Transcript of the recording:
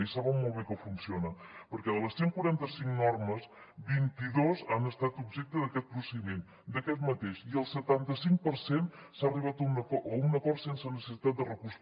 i saben molt bé que funciona perquè de les cent i quaranta cinc normes vint dos han estat objecte d’aquest procediment d’aquest mateix i al setanta cinc per cent s’ha arribat a un acord sense necessitat de recurs